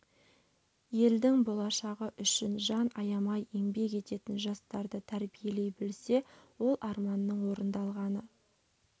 елдің болашағы үшін жан аямай еңбек ететін жастарды тәрбиелей білсе ол арманның орындалғаны